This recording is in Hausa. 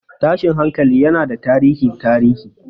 Tashin hankali yana da tarihin tarihi.